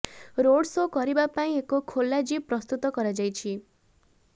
road show କରିବା ପାଇଁ ଏକ ଖୋଲା ଜିପ୍ ପ୍ରସ୍ତୁତ କରାଯାଇଛି